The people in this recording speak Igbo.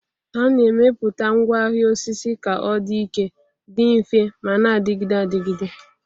A na-emepụta ngwaahịa osisi ka ọ dị ike, dị mfe ma na-adịgide adịgide.